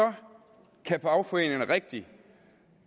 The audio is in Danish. kan fagforeningerne rigtig